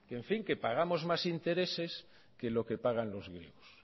que en fin pagamos más intereses que los que pagan los griegos